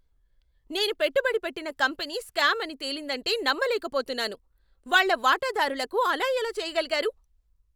నేను పెట్టుబడి పెట్టిన కంపెనీ స్కామ్ అని తేలిందంటే నమ్మలేకపోతున్నాను. వాళ్ళ వాటాదారులకు అలా ఎలా చేయగలిగారు?